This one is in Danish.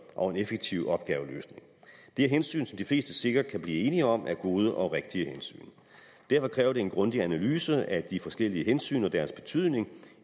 og en effektiv opgaveløsning det er hensyn som de fleste sikkert kan blive enige om er gode og rigtige hensyn og derfor kræver det en grundig analyse af de forskellige hensyn og deres betydning